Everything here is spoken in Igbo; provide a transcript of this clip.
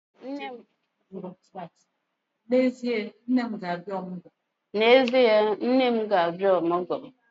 N'ezie, nne m ga-abịa ọmụgwọ